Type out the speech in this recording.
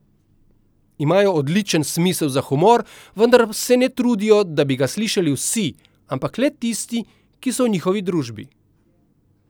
Imajo odličen smisel za humor, vendar se ne trudijo, da bi ga slišali vsi, ampak le tisti, ki so v njihovi družbi.